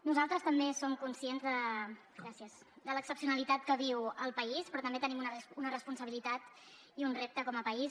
nosaltres també som conscients de l’excepcionalitat que viu el país però també tenim una responsabilitat i un repte com a país